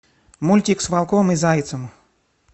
мультик с волком и зайцем